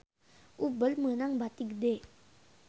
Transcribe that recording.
Uber meunang bati gede